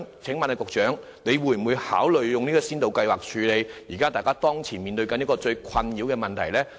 請問局長會否考慮推出先導計劃，以處理當前最困擾大家的問題呢？